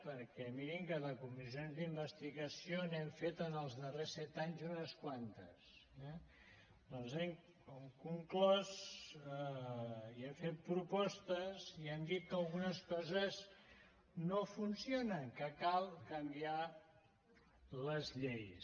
perquè mirin que de comissions d’investigació n’hem fet en els darrers set anys unes quantes eh doncs hem conclòs i hem fet propostes i hem dit que algunes coses no funcionen que cal canviar les lleis